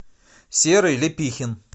серый лепихин